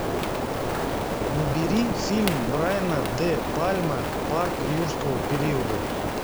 набери фильм брайена де пальма парк юрского периода